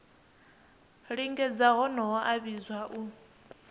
lingedza honoho a vhidzwa u